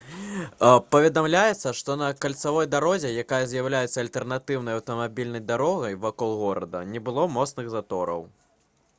паведамляецца што на кальцавой дарозе якая з'яўляецца альтэрнатыўнай аўтамабільнай дарогай вакол горада не было моцных затораў